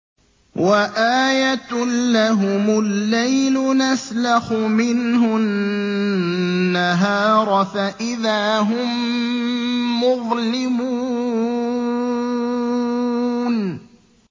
وَآيَةٌ لَّهُمُ اللَّيْلُ نَسْلَخُ مِنْهُ النَّهَارَ فَإِذَا هُم مُّظْلِمُونَ